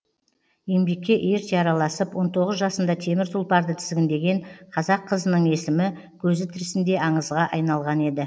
еңбекке ерте араласып он тоғыз жасында темір тұлпарды тізгіндеген қазақ қызының есімі көзі тірісінде аңызға айналған еді